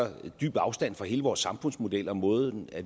dyb afstand fra hele vores samfundsmodel og måden